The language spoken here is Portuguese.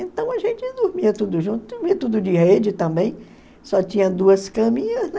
Então a gente dormia tudo junto, dormia tudo de rede também, só tinha duas caminhas, né?